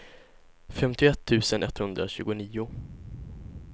femtioett tusen etthundratjugonio